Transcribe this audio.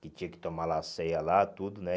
Que tinha que tomar lá a ceia lá, tudo, né?